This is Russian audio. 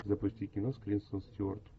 запусти кино с кристен стюарт